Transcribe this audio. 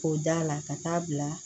K'o d'a la ka taa bila